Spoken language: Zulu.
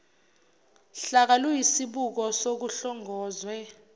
hlaka luyisibuko sokuhlongozwe